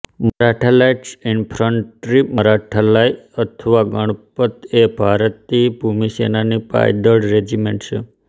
Maratha light infantry Maratha લાઇ અથવા ગણપત એ ભારતીય ભૂમિસેનાની પાયદળ રેજિમેન્ટ છે